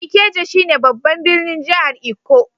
Ikeja shine babban birnin jihar lkko.